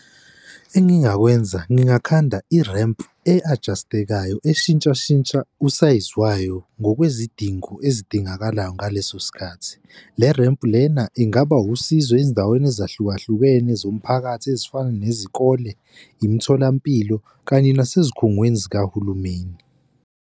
Engingakwenza ngingakhanda i-ramp e-ajastekayo eshintsha shintsha usayizi wayo ngokwezidingo ezidingakalayo ngaleso sikhathi le-ramp-u lena ingaba usizo ezindaweni ezahlukahlukene zomphakathi ezifana nezikole, imitholampilo kanye nasezigungweni zikahulumeni.